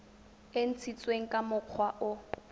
e ntshitsweng ka mokgwa o